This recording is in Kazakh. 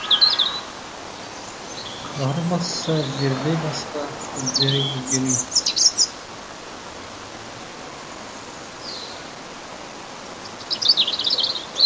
қалары басса жерде басқа іздері өзгенін